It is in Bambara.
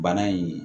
Bana in